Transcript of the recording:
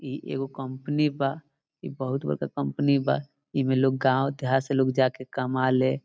इ एगो कंपनी बा ई बहुत बड़का कंपनी बा ईमें लोग गांव-देहात से लोग जाके कमाले।